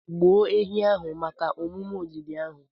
Gbuo ehi ahụ maka omume olili ahụ.